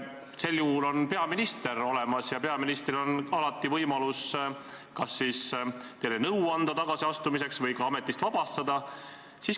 Selliseks juhuks on olemas peaminister, peaministril on alati võimalus kas anda teile nõu tagasiastumiseks või teid ka ametist vabastada.